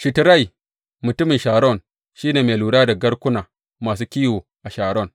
Shitrai mutumin Sharon shi ne mai lura da garkuna masu kiwo a Sharon.